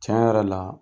Tiɲɛ yɛrɛ la